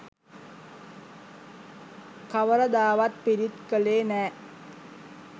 කවරදාවත් පිරිත් කළේ නෑ.